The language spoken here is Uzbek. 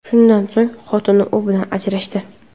Shundan so‘ng xotini u bilan ajrashdi.